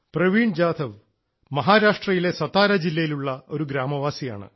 പ്രവീൺ ജാധവ് മഹാരാഷ്ട്രയിലെ സതാരാ ജില്ലയിലുള്ള ഒരു ഗ്രാമവാസിയാണ്